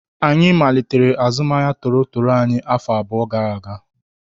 Anyị malitere azụmahịa toro toro anyị afọ abụọ gara aga